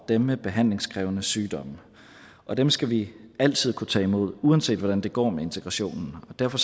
dem med behandlingskrævende sygdomme og dem skal vi altid kunne tage imod uanset hvordan det går med integrationen derfor